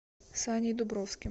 саней дубровским